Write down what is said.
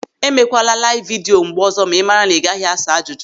E mekwala laiv vidio mgbe ọzọ ma ị mara na ị gaghị asa ajụjụ.